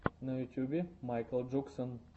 на ютьюбе майкл джуксон